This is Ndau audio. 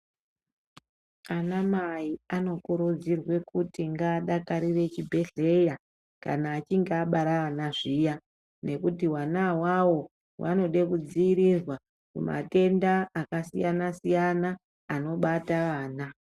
Ana Mai vanokurudzirwa kuti vadakarire zvibhedhleya kana achinge abara ana zviye nekuti vana avavo vanoda kudzivirira kumatenda anobata vana.